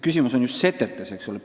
Küsimus on just setetes.